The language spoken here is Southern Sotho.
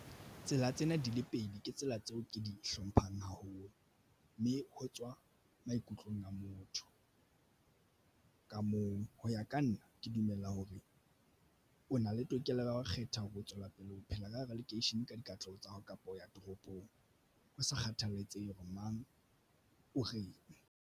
Tsela tsena di le pedi ke tsela tseo ke di hlomphang haholo mme ho tswa maikutlong a motho ka mong. Ho ya ka nna ke dumela hore o na le tokelo ya ho kgetha ho tswela pele o phela ka hara lekeishene ka dikatleho tsa hao kapa ho ya toropong ho sa kgathalatsehe hore mang o reng.